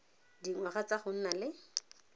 dingwaga tsa go nna le